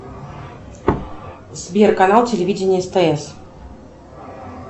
сбер канал телевидения стс